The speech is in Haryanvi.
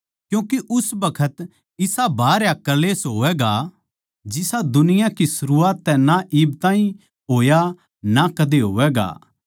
क्यूँके उस बखत इसा भारया क्ळेश होवैगा जिसा दुनिया की सरूआत तै ना इब ताहीं होया ना कदे होवैगा